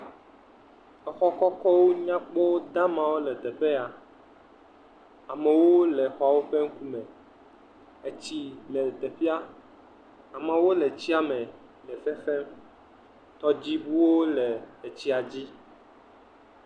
Exɔ kɔkɔwo nyakpa damawo le teƒe ya. Amewo le xɔawo ƒe ŋkume. Etsi le teƒea. Amewo le etsia me le xexe. Tɔdziŋuwo le etsia dzi.